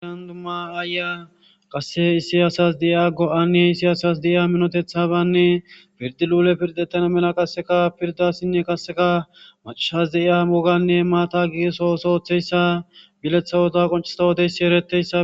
Ashndumma aaya qasse isiyasas de'ia go'anne isiyasas diiya minotethabanne pirdi luule pirdettana mela qasseka pirdassinne kasseka macashas de'iya moganne maata giisosooththeyssa bileththa wota qoncista wodeyssi eretteyssa.